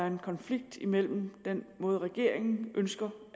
en konflikt mellem den måde regeringen ønsker